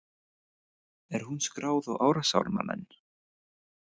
Er hún skráð á árásarmanninn?